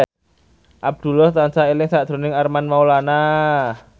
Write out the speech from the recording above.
Abdullah tansah eling sakjroning Armand Maulana